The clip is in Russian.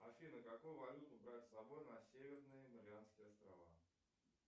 афина какую валюту брать с собой на северные марианские острова